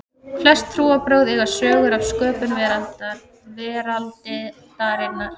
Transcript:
flest trúarbrögð eiga sögur af sköpun veraldarinnar